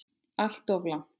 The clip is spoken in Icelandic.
Alltof langt.